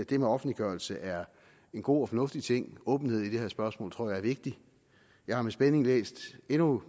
det med offentliggørelse er en god og fornuftig ting åbenhed i det her spørgsmål tror jeg er vigtigt jeg har med spænding endnu